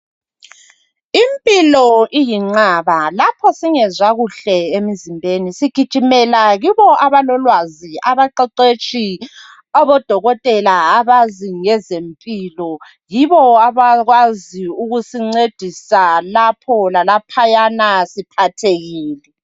Impilo iyinqaba lapho singezwakuhle emzimbeni sigijimela kibo abalolwazi abaqeqetshi, aboDokotela abazi ngezempilo, yibo abakwazi ukusincedisa lapho lalapho siphathekile.